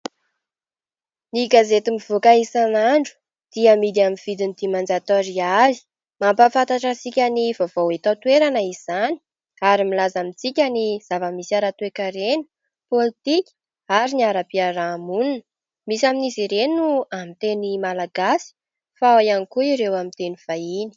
Ny gazety mivoaka isan'andro dia hamidy amin'ny vidiny dimanjato ariary mampahafantatra antsika ny vaovao eto an-toerana izany ary milaza amintsika ny zava-misy ara-toe-karena politika ary ny ara-piarahamonina. Misy amin'izy ireny no amin'ny teny malagasy fa ao ihany koa ireo amin'ny teny vahiny